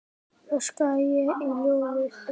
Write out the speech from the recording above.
öskraði ég í loðið eyra.